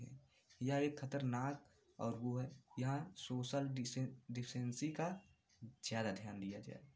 यह एक खतरनाक औ है। यहां सोशल डिसे डिस्टेंस का ज़्यादा ध्यान दिया जाए।